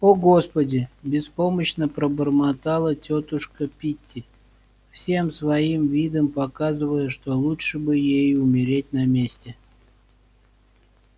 о господи беспомощно пробормотала тётушка питти всем своим видом показывая что лучше бы ей умереть на месте